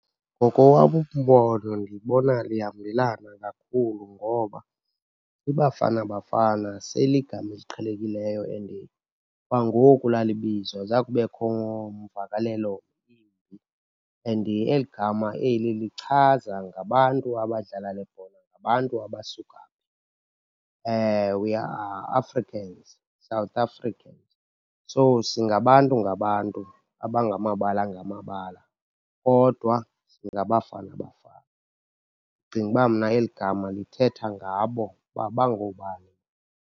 Ngokowam umbono ndibona lihambelana kakhulu ngoba iBafana Bafana seyiligama eliqhelekileyo and kwangoku lalibizwa zange kubekho mvakalelo imbi. And eli gama eli lichaza ngabantu abadlala le bhola, ngabantu abasuka phi. We are Africans, South Africans, so singabantu ngabantu abangamabala ngamabala, kodwa singaBafana Bafana. Ndicinga uba mna eli gama lithetha ngabo uba bangoobani.